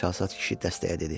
Çalsat kişi dəstəyə dedi.